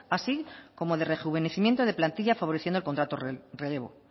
así como de rejuvenecimiento de plantilla favoreciendo el contrato relevo